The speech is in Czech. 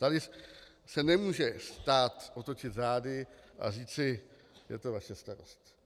Tady se nemůže stát otočit zády a říci: Je to vaše starost.